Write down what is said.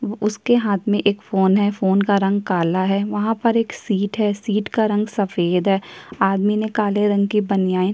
उसके हाथ में फोन है फोन का रंग काला है एक सीट है सीट का रंग सफेद है आदमी ने काले रंग की बनियान--